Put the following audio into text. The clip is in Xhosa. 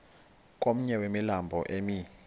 komnye wemilambo emi